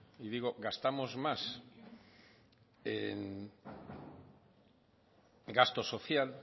y digo gastamos más en gasto social